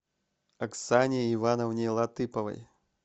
оксане ивановне латыповой